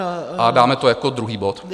A dáme to jako druhý bod.